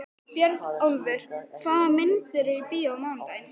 Björnólfur, hvaða myndir eru í bíó á mánudaginn?